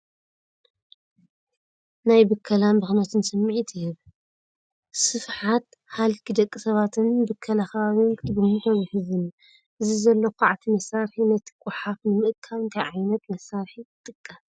ናይ ብከላን ብኽነትን ስምዒት ይህብ። ስፍሓት ሃልኪ ደቂ ሰባትን ብከላ ከባቢን ክትግምቶ ዘሕዝን እዩ። እዚ ዘሎ ኳዕቲ መሳርሒ ነቲ ጎሓፍ ንምእካብ እንታይ ዓይነት መሳርሒ ይጥቀም?